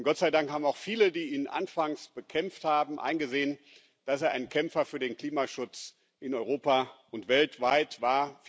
Und Gott sei Dank haben auch viele, die ihn anfangs bekämpft haben, eingesehen, dass er ein Kämpfer für den Klimaschutz in Europa und weltweit war.